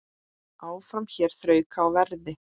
Áfram hér þrauka á verði.